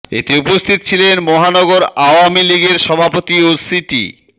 এতে উপস্থিত ছিলেন মহানগর আওয়ামী লীগের সভাপতি ও সিটি